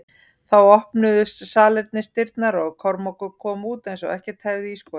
Þá opnuðust salernisdyrnar og Kormákur kom út eins og ekkert hefði í skorist.